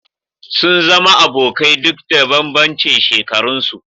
Sun zama abokai duk da bambancin shekaran su